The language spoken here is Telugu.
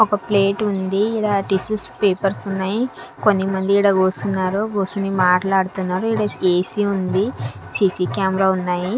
ఒక ప్లేటుంది ఈడ టిష్యూస్ పేపర్స్ ఉన్నాయి కొన్ని మంది ఈడ గూసున్నారు కూసొని మాట్లాడుతున్నారు ఈడ ఏసీ ఉంది సీసీ కెమెరాలున్నాయి .